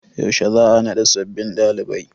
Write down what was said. Yaushe za'a naɗa sabbin dalibai.